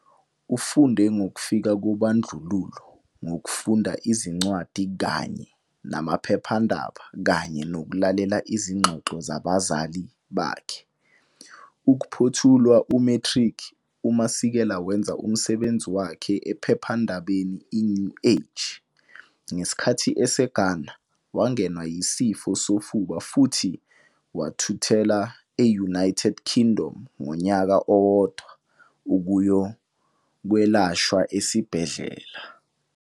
Ufunde ngokufika kobandlululo ngokufunda izincwadi kanye namaphephandaba kanye nokulalela izingxoxo zabazali bakhe. Ukuphothula u-matric uMasekela wenza umsebenzi wakhe ephephandabeni iNew Age. Ngesikhathi eseGhana wangenwa yisifo sofuba futhi wathuthela e-United Kingdom unyaka owodwa ukuyokwelashwa esibhedlela.